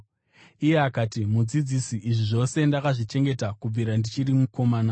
Iye akati, “Mudzidzisi, izvi zvose ndakazvichengeta kubvira ndichiri mukomana.”